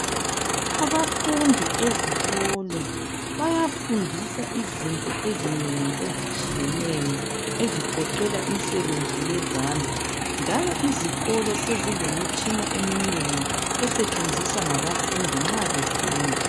Abafundi ezikolo, bayafundiswa izinto ezinengi ezitshiyeneyo ezigoqela imisebenzi yezandla, njalo izikolo sezilemitshina eminengi esetshenziswa ngabafundi nxa befunda.